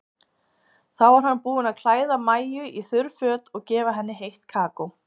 Þá var hann búinn að klæða Maju í þurr föt og gefa henni heitt kakó.